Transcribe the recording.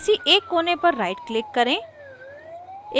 किसी एक कोने पर right click करें